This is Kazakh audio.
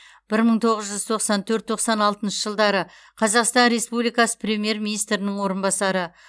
бір мың тоғыз жүз тоқсан төрт тоқсан алтыншы жылдары қазақстан республикасы премьер министрінің орынбасары